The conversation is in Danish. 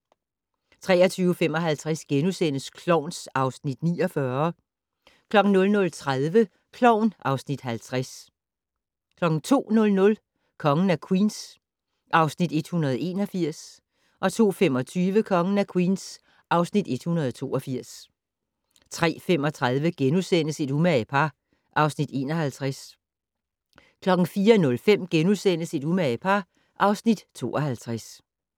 23:55: Klovn (Afs. 49)* 00:30: Klovn (Afs. 50) 02:00: Kongen af Queens (Afs. 181) 02:25: Kongen af Queens (Afs. 182) 03:35: Et umage par (Afs. 51)* 04:05: Et umage par (Afs. 52)*